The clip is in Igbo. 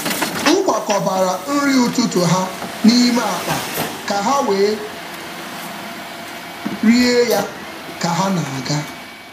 M kwakọbara nri ụtụtụ ha n’ime akpa ka ha wee rie ya ka ha na-aga.